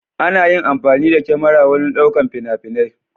Ana yin amfani da kyamara wurin ɗaukar fina-finai.